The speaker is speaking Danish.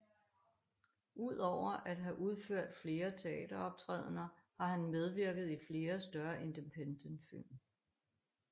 Udover at have udført flere teateroptrædener har han medvirket i flere større independentfilm